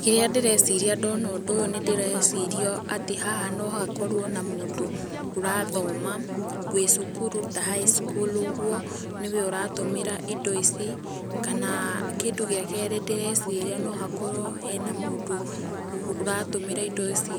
Kĩrĩa ndĩreciria ndona ũndũ ũyũ nĩ ndĩreciria atĩ haha no hakorũo na mũndũ ũrathoma, wĩ cũkũrũ ta high school ũgũo, nĩ we ũratumĩra indo ici, kanaa, kĩndũ gĩa kerĩ, ndĩreciria no ha korũo hena mũndũ ũratũmĩra indo ici